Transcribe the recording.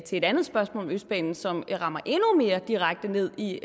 et andet spørgsmål om østbanen som rammer endnu mere direkte ned i